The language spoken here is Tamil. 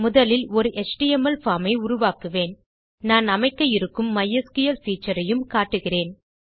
முதலில் ஒரு எச்டிஎம்எல் பார்ம் ஐ உருவாக்குவேன் நாம் அமைக்க இருக்கும் மைஸ்கிள் பீச்சர்ஸ் ஐயும் காட்டுகிறேன்